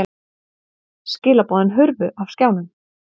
Skilaboðin hurfu af skjánum.